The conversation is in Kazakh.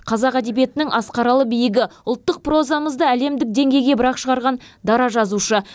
қазақ әдебиетінің асқаралы биігі ұлттық прозамызды әлемдік деңгейге бір ақ шығарған дара жазушы